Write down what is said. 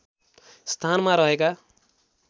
स्थानमा रहेका